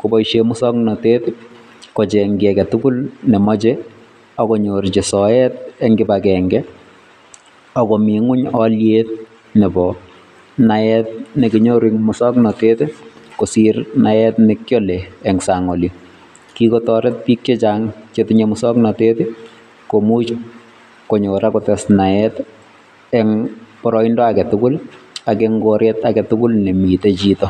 kopoishen muswoknatet kocheng kiiy age tugul nemochei ako nyorchi soet eng kibagenge akomi ingwony aliet nbo naet nekinyoru eng muswoknatet kosiir naet nekiale eng sang oli. Kikotoret biik chechang che tinyei muswoknatet konyo ako tes naet eng baraindo age tugul ak ing koret age tugul nemitei chito.